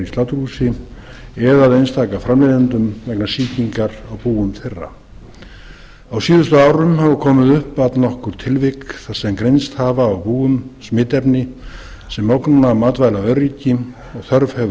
sláturhúsi eða að einstaka framleiðendum vegna sýkingar á búum þeirra á síðustu árum hafa komið upp allnokkur tilvik þar sem greinst hafa á búum smitefni sem ógna matvælaöryggi og þörf hefur